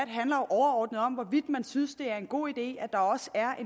nu om hvorvidt man synes det er en god idé at der også er